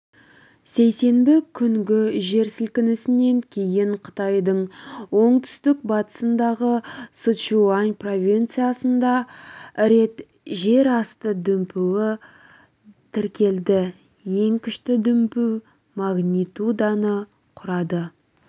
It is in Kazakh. сейсенбі күнгі жер сілкінісінен кейін қытайдың оңтүстік батысындағы сычуань провинциясында рет жерасты дүмпуі тіркелді ең күшті дүмпу магнитуданы құрады